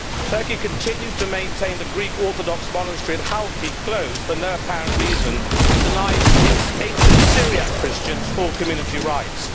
Turkey continues to maintain the Greek Orthodox Monastery at Halki closed for no apparent reason, and to deny its ancient Syriac Christians full community rights.